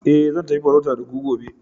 eh zan tafi farauta da ku gobe